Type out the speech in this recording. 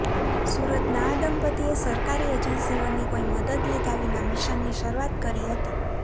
સુરતના આ દંપતીએ સરકારી એજન્સીઓની કોઈ મદદ લીધા વિના મિશનની શરૂઆત કરી હતી